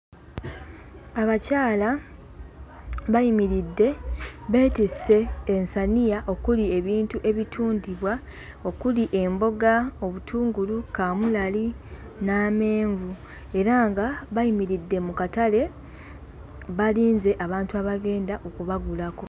Abakyala bayimiridde, beetisse ensaniya okuli ebintu ebitundibwa okuli emboga, obutungulu, kaamulali n'amenvu era nga bayimiridde mu katale balinze abantu abagenda okubagulako.